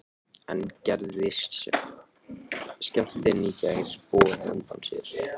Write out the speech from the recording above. En gerði skjálftinn í gær boð á undan sér?